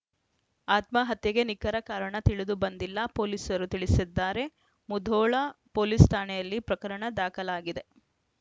ಆತ್ಮಹತ್ಯೆಗೆ ನಿಖರ ಕಾರಣ ತಿಳಿದು ಬಂದಿಲ್ಲ ಪೊಲೀಸರು ತಿಳಿಸಿದ್ದಾರೆ ಮುಧೋಳ ಪೊಲೀಸ್‌ ಠಾಣೆಯಲ್ಲಿ ಪ್ರಕರಣ ದಾಖಲಾಗಿದೆ